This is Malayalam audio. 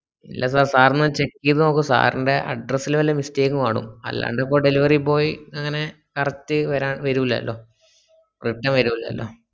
ഇല്ല sir sir ഒന്ന് check ചെയ്തോക്കു sir ന്റെ address ലെ വല്ല mistake ഉം ആണോ അല്ലാണ്ടപ്പോ delivery boy എങ്ങനെ correct വരാൻ വരൂലല്ലോ വരൂലല്ലോ